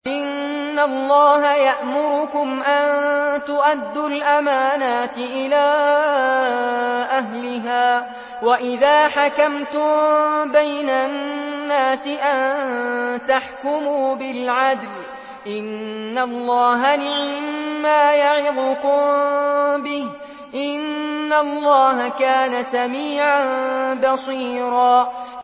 ۞ إِنَّ اللَّهَ يَأْمُرُكُمْ أَن تُؤَدُّوا الْأَمَانَاتِ إِلَىٰ أَهْلِهَا وَإِذَا حَكَمْتُم بَيْنَ النَّاسِ أَن تَحْكُمُوا بِالْعَدْلِ ۚ إِنَّ اللَّهَ نِعِمَّا يَعِظُكُم بِهِ ۗ إِنَّ اللَّهَ كَانَ سَمِيعًا بَصِيرًا